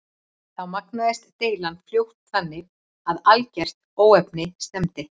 Þá magnaðist deilan fljótt þannig að í algert óefni stefndi.